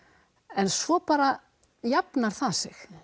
en svo bara jafnar það sig